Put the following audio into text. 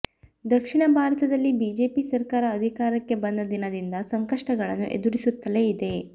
ದಕ್ಷಿಣ ಭಾರತದಲ್ಲಿ ಬಿಜೆಪಿ ಸರ್ಕಾರ ಅಧಿಕಾರಕ್ಕೆ ಬಂದ ದಿನದಿಂದ ಸಂಕಷ್ಟಗಳನ್ನು ಎದುರಿಸುತ್ತಲೇ ಇದೆ